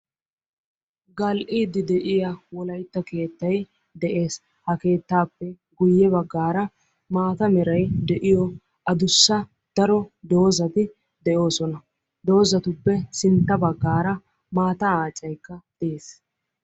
Gal'iidi de'iyaa wolaytta keettay de'ees. Ha keettappe guyye baggaara maata meray de'iyo adussa doozati de'osona. Doozatuppe sintta baggaara maataa aacaykka dees.